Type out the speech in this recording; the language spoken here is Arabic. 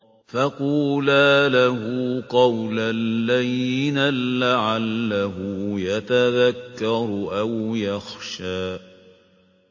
فَقُولَا لَهُ قَوْلًا لَّيِّنًا لَّعَلَّهُ يَتَذَكَّرُ أَوْ يَخْشَىٰ